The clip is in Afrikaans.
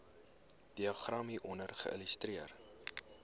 diagram hieronder illustreer